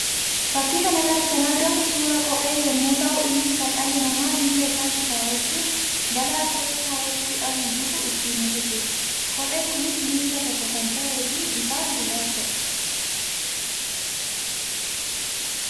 Fakkii kana irratti kan argamu suuraa kophee yammuu tahu; innis kan dhalli namaa miilla isaatti kaawwachuun balaa kophee kaawwachuu dhabuun dhufu ittiin hirrisuu dha. Kopheen kunis miilla tokko kan tahee fi bifaan gurraachaa dha.